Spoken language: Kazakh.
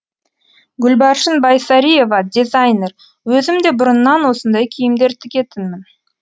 гүлбаршын байсариева дизайнер өзім де бұрыннан осындай киімдер тігетінмін